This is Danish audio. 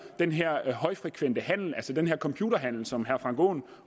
den her højfrekvente handel altså den her computerhandel som herre frank aaen